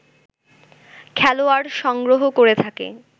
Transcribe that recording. খেলোয়াড় সংগ্রহ করে থাকে